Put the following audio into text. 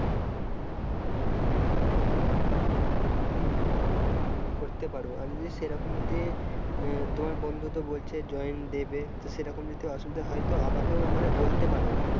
হম করতে পারো আর যদি সেরকম যদি আহ তোমার বন্ধুতো বলছে join দেবে তো সেরকম যদি অসুবিধা হয় তো আমাকেও মানে বলতে পারো,